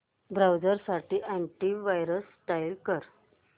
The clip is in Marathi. ब्राऊझर साठी अॅंटी वायरस इंस्टॉल कर